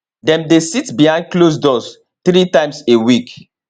dem dey sit behind closed doors three times a week